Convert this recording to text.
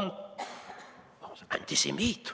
on antisemiit.